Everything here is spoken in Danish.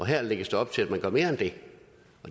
her lægges der op til at man gør mere end det